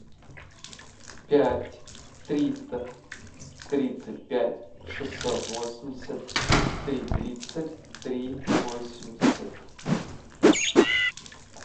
пять триста тридцать пять шестьсот восемьдесят три тридцать три восемьдесят